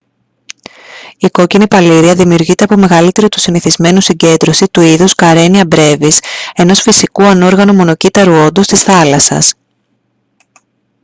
η κόκκινη παλίρροια δημιουργείται από μεγαλύτερη του συνηθισμένου συγκέντρωση του είδους karenia brevis ενός φυσικού ανόργανου μονοκύτταρου όντος της θάλασσας